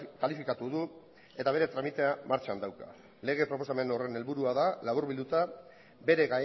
kalifikatu du eta bere tramitea martxan dauka lege proposamen horren helburua da laburlbilduta bere